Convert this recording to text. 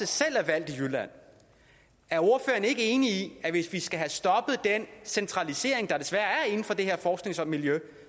selv er valgt i jylland ikke enig i at hvis vi skal have stoppet den centralisering der desværre er inden for det her forskningsmiljø